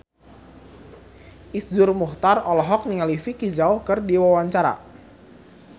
Iszur Muchtar olohok ningali Vicki Zao keur diwawancara